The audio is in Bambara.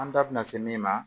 An da bina se min ma